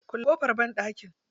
Kulle ƙofar banɗaki.